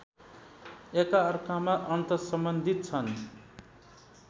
एकअर्कामा अन्तर्सम्बन्धित छन्